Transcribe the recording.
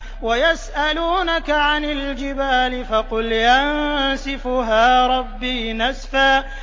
وَيَسْأَلُونَكَ عَنِ الْجِبَالِ فَقُلْ يَنسِفُهَا رَبِّي نَسْفًا